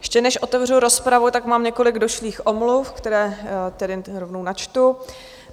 Ještě než otevřu rozpravu, tak mám několik došlých omluv, které tedy rovnou načtu.